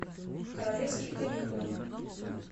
королевские каникулы